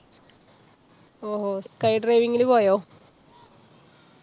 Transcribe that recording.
ഓഹോ! sky driving ന് പോയോ?